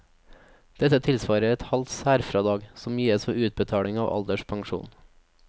Dette tilsvarer et halvt særfradrag, som gis ved utbetaling av alderspensjon.